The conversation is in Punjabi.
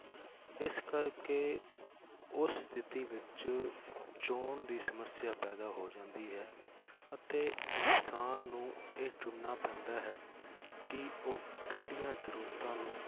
ਇਸ ਕਰਕੇ ਉਸ ਸਥਿਤੀ ਵਿੱਚ ਚੋਣ ਦੀ ਸਮੱਸਿਆ ਪੈਦਾ ਹੋ ਜਾਂਦੀ ਹੈ ਅਤੇ ਇਨਸਾਨ ਨੂੰ ਇਹ ਚੁਣਨਾ ਪੈਂਦਾ ਹੈ ਕਿ ਉਹ ਕਿਹੜੀਆਂ ਜ਼ਰੂਰਤਾਂ ਨੂੰ